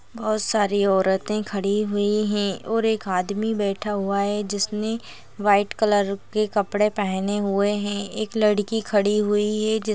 बोहोत सारी औरतें खड़ी हुई है और एक आदमी बैठा हुआ है जिसनें वाइट कलर के कपड़े पहने हुए है एक लड़की खड़ी हुई है जिस--